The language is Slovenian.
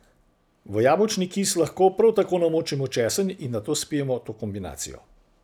V jabolčni kis lahko prav tako namočimo česen in nato spijemo to kombinacijo.